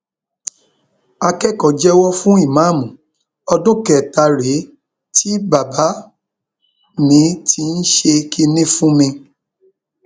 akẹkọọ jẹwọ fún ìmáàmù ọdún kẹta rèé tí bàbá mi ti ń ṣe kínní fún mi